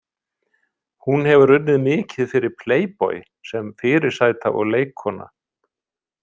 Hún hefur unnið mikið fyrir Playboy sem fyrirsæta og leikkona.